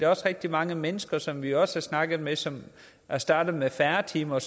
også rigtig mange mennesker som vi også har snakket med som er startet med færre timer